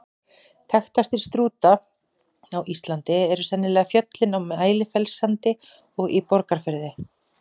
Þekktastir Strúta á Íslandi eru sennilega fjöllin á Mælifellssandi og í Borgarfirði.